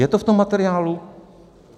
Je to v tom materiálu?